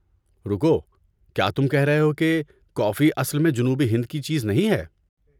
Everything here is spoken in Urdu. رکو! کیا تم کہہ رہے ہو کہ کافی اصل میں جنوبی ہند کی چیز نہیں ہے؟